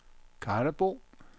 Karlebo